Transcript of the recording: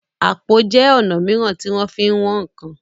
àpò jé ọnà míràn tí wón fín wón nkán.